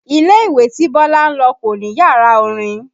Ilé ìwé tí Bọ́lá ń lọ kò ní yàrá orin